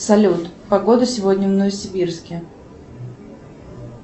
салют погода сегодня в новосибирске